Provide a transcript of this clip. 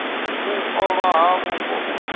u ṱolwa ha vhupo u